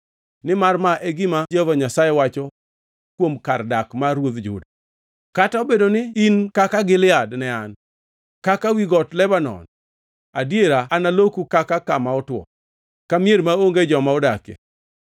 Nimar ma e gima Jehova Nyasaye wacho kuom kar dak mar ruodh Juda: “Kata obedo ni in kaka Gilead ne an, kaka wi got Lebanon, adiera analoku kaka kama otwo, ka mier maonge joma odakie.